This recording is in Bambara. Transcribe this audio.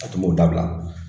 A tun b'o dabila